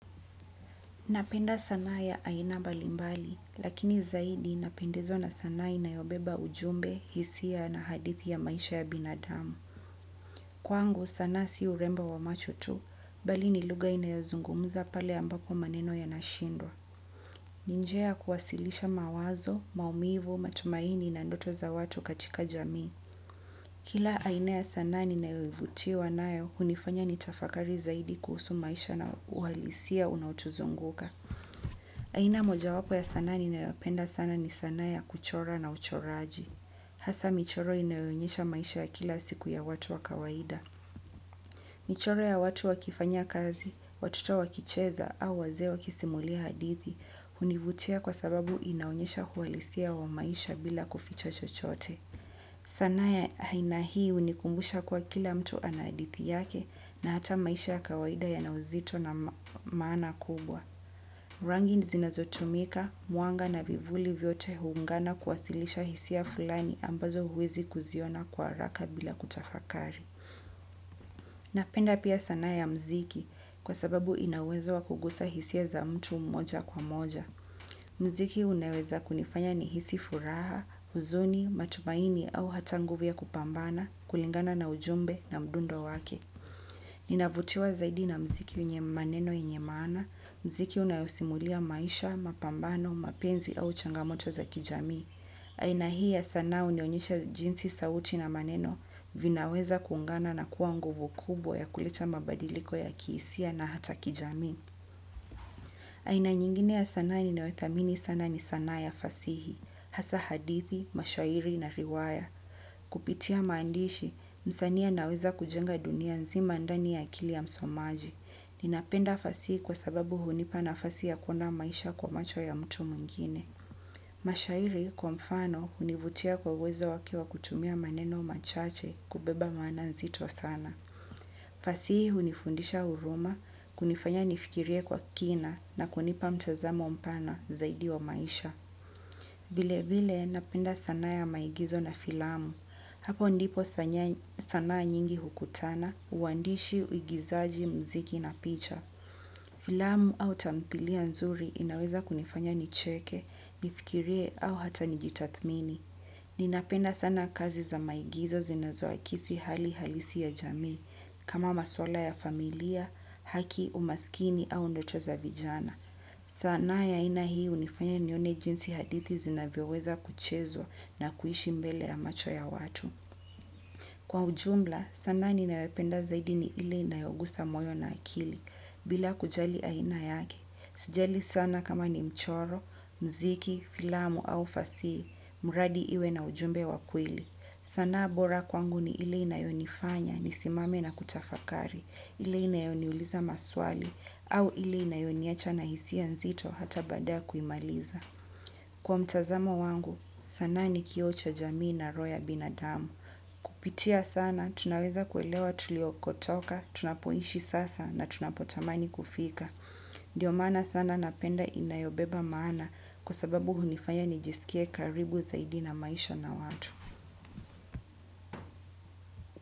Napenda sana ya aina balimbali, lakini zaidi ninapendezwa na sanaa inayobeba ujumbe, hisia na hadithi ya maisha ya binadamu. Kwangu sanaa si urembo wa macho tu, bali ni lugha inayozungumza pale ambapo maneno yanashindwa. Ni njia ya kuwasilisha mawazo, maumivu, matumaini na ndoto za watu katika jamii. Kila aina ya sanaa ninayoivutiwa nayo, hunifanya nitafakari zaidi kuhusu maisha na uhalisia unaotuzunguka. Aina mojawapo ya sanaa ninayopenda sana ni sanaa ya kuchora na uchoraji. Hasa michoro inayoonyesha maisha ya kila siku ya watu wa kawaida. Michoro ya watu wakifanya kazi, watoto wakicheza au wazee wakisimulia hadithi hunivutia kwa sababu inaonyesha uhalisia wa maisha bila kuficha chochote. Sanaa ya aina hii hunikumbusha kuwa kila mtu ana hadithi yake na hata maisha ya kawaida yana uzito na maana kubwa. Rangi zinazotumika, mwanga na vivuli vyote huungana kuwasilisha hisia fulani ambazo huwezi kuziona kwa haraka bila kutafakari. Napenda pia sanaa ya muziki kwa sababu ina uwezo wa kugusa hisia za mtu mmoja kwa moja. Muziki unaweza kunifanya nihisi furaha, huzuni, matumaini au hata nguvu ya kupambana, kulingana na ujumbe na mdundo wake. Ninavutiwa zaidi na muziki wenye maneno yenye maana, muziki unayosimulia maisha, mapambano, mapenzi au changamoto za kijamii. Aina hii ya sanaa hunionyesha jinsi sauti na maneno vinaweza kuungana na kuwa nguvu kubwa ya kuleta mabadiliko ya kihisia na hata kijamii. Aina nyingine ya sanaa ninayothamini sana ni sanaa ya fasihi, hasa hadithi, mashairi na riwaya. Kupitia maandishi, msanii anaweza kujenga dunia nzima ndani ya akili ya msomaji, ninapenda fasihi kwa sababu hunipa nafasi ya kuona maisha kwa macho ya mtu mwingine. Mashairi kwa mfano hunivutia kwa uwezo wake wa kutumia maneno machache kubeba maana nzito sana. Fasihi hunifundisha huruma, kunifanya nifikirie kwa kina, na kunipa mtazamo mpana zaidi wa maisha. Vile vile, napenda sanaa ya maigizo na filamu. Hapo ndipo sanaa nyingi hukutana, uandishi, uigizaji, muziki na picha. Filamu au tamthilia nzuri inaweza kunifanya nicheke, nifikirie au hata nijitathmini. Ninapenda sana kazi za maigizo zinazoakisi hali halisi ya jamii, kama masuala ya familia, haki, umaskini au ndoto za vijana. Sanaa ya aina hii hunifanya nione jinsi hadithi zinavyoweza kuchezwa na kuishi mbele ya macho ya watu. Kwa ujumla, sanaa ninayopenda zaidi ni ile inayogusa moyo na akili, bila kujali aina yake. Sijali sana kama ni mchoro, muziki, filamu au fasihi, mradi iwe na ujumbe wa kweli. Sanaa bora kwangu ni ile inayonifanya nisimame na kutafakari, ile inayoniuliza maswali, au ile inayoniacha na hisia nzito hata baada ya kuimaliza. Kwa mtazamo wangu, sanaa ni kioo cha jamii na roho ya binadamu. Kupitia sanaa, tunaweza kuelewa tuliokotoka, tunapoishi sasa na tunapotamani kufika. Ndio maana sanaa napenda inayobeba maana kwa sababu hunifanya nijisikie karibu zaidi na maisha na watu.